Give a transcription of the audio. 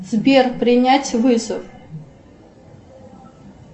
сбер принять вызов